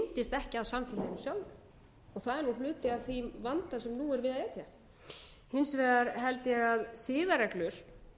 ekki að samfélaginu sjálfu og það er hluti af þeim vanda sem nú er við að etja hins vegar held ég að siðareglur